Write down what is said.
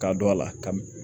Ka don a la ka m